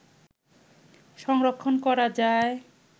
সংরক্ষণ করা যায়